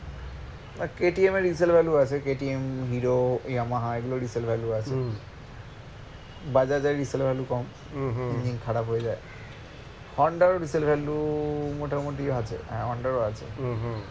KTM এর resale value আছে KTM, Hero, Yamaha এগুলোর resale value আছে Bajaj এর resale value কম খারাপ হয়ে যায় Honda র resale value মোটামুটি আছে হ্যাঁ Honda র ও আছে